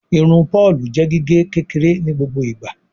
Irun Paul jé gige kékeré ní gbogbo ìgba.